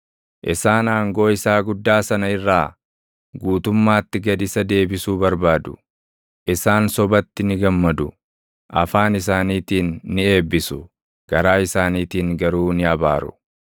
Isaan aangoo isaa guddaa sana irraa, guutummaatti gad isa deebisuu barbaadu; isaan sobatti ni gammadu. Afaan isaaniitiin ni eebbisu; garaa isaaniitiin garuu ni abaaru.